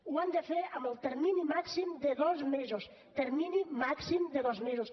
ho han de fer en el termini màxim de dos mesos termini màxim de dos mesos